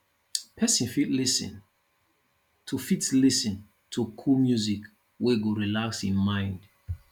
person fit lis ten to fit lis ten to cool music we go relax im mind